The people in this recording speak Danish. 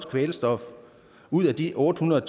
kvælstof ud af de otte hundrede